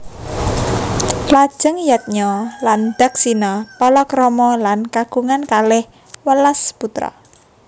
Lajeng Yadnya lan Daksina palakrama lan kagungan kalih welas putra